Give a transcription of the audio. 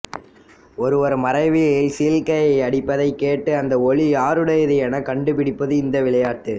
ஒருவர் மறைவில் சீழ்க்கை அடிப்பதைக் கேட்டு அந்த ஒலி யாருடையது எனக் கண்டுபிடிப்பது இந்த விளையாட்டு